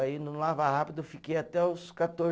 Aí, no lava rápido, eu fiquei até os